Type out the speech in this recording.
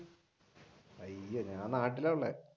അയ്യോ ഞാൻ നാട്ടിൽ ആണ് ഉള്ളത്.